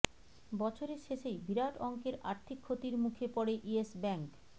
বছরের শেষেই বিরাট অঙ্কের আর্থিক ক্ষতির মুখে পড়ে ইয়েস ব্যাঙ্ক